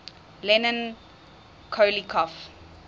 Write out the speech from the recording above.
leon poliakov